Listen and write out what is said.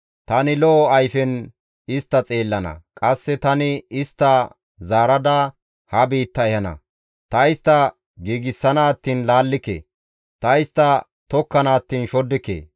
Tani lo7o ayfen istta xeellana; qasse tani istta zaarada ha biitta ehana. Ta istta giigsana attiin laallike; ta istta tokkana attiin shoddike.